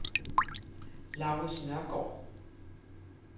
Laurids Nørgård